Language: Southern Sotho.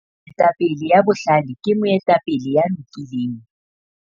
moetapele ya bohlale ke moetapele ya lokileng